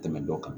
Tɛmɛn dɔ kan